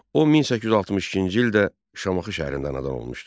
O 1862-ci ildə Şamaxı şəhərində anadan olmuşdu.